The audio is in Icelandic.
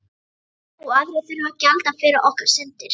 Og aðrir þurfa að gjalda fyrir okkar syndir.